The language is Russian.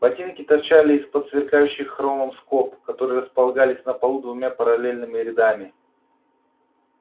ботинки торчали из-под сверкающих хромом скоб которые располагались на полу двумя параллельными рядами